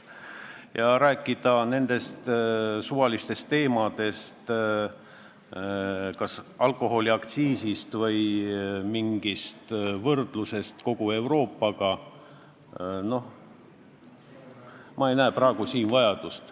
Ja rääkida praegu suvalistest teemadest, kas alkoholiaktsiisist või võrdlusest kogu Euroopaga – ma ei näe praegu seda vajadust.